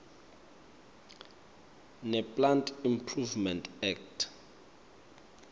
neplant improvement act